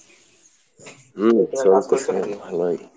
হম চলতেসে ভালোই।